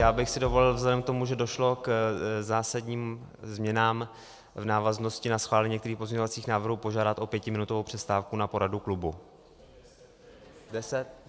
Já bych si dovolil vzhledem k tomu, že došlo k zásadním změnám v návaznosti na schválení některých pozměňovacích návrhů, požádat o pětiminutovou přestávku na poradu klubu.